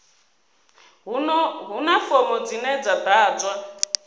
huna fomo dzine dza ḓadzwa